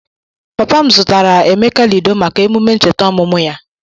Papa m zụtara Emeka Lido maka emume ncheta ọmụmụ ya.